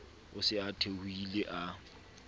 o se a theohile a